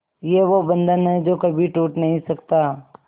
ये वो बंधन है जो कभी टूट नही सकता